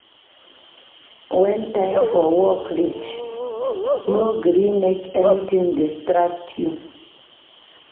Wen time for work reach, no gree make anytin distract you.